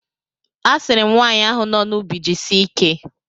A sịrị m nwaanyị ahụ no n'ubi jisie ike.